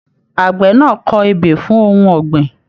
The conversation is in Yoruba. Àgbẹ̀ náà kọ ebè fún ohùn ọ̀gbìn.